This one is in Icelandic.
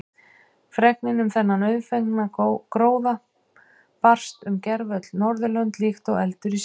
Fregnin um þennan auðfengna gróða barst um gervöll Norðurlönd líkt og eldur í sinu.